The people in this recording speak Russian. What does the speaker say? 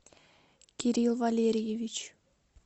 кирилл валерьевич